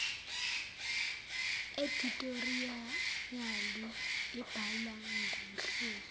edithoriyali ibhalwa ngumhleli